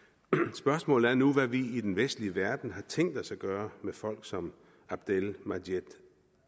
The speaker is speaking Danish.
spørgsmålet er nu hvad vi i den vestlige verden har tænkt os at gøre med folk som abdel majed